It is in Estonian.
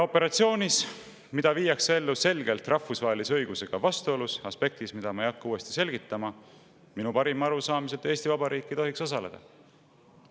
Operatsioonis, mida viiakse ellu selgelt rahvusvahelise õigusega vastuolus – aspektis, mida ma ei hakka uuesti selgitama –, minu parima arusaamise kohaselt ei tohiks Eesti Vabariik osaleda.